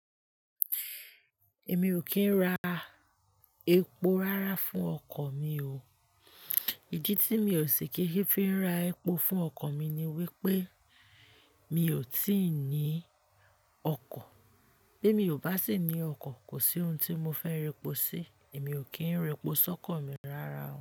Èmi ò kí ń ra epo rárá fún ọkọ̀ mi o. Ìdí tí mi ò sì kí n fi ra epo fún ọkọ̀ mi ni wípé mi ò tí ì ní ọkọ̀. Bí mi ò bá sì ní ọkọ̀, kò sí ohun tí mo fẹ́ rẹpo sí. Èmi ò kí ń repo sọ́kọ̀ mi rárá o.